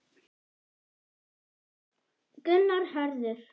Gunnar Hörður.